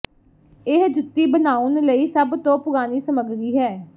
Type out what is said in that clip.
ਇਹ ਜੁੱਤੀ ਬਣਾਉਣ ਲਈ ਸਭ ਤੋਂ ਪੁਰਾਣੀ ਸਮਗਰੀ ਹੈ